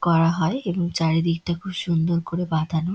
করা হয় এবং চারিদিকটা খুব সুন্দর করে বাঁধানো--